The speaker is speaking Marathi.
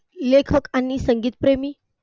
लेखक आणि संगीतप्रेमी